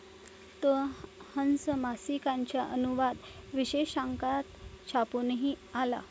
तो हंस मासिकाच्या अनुवाद विशेषांकात छापूनही आला.